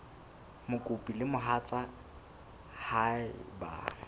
mokopi le mohatsa hae ba